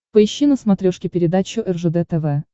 поищи на смотрешке передачу ржд тв